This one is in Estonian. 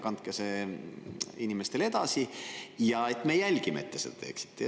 Kandke see kasu inimestele edasi, me jälgime, et te seda teeksite.